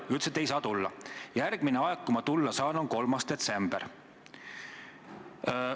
Te ütlesite, et ei saa tulla ning et järgmine aeg, kui te tulla saate, on 3. detsember.